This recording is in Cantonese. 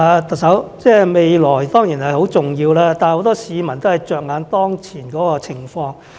特首，未來當然是重要，但很多市民着眼當前的情況。